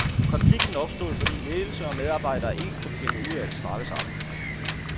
Konflikten opstod, fordi ledelse og medarbejdere ikke kunne finde ud af at snakke sammen.